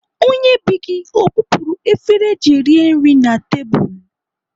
Onye bee gị o bupuru efere eji rie nri na tebụl?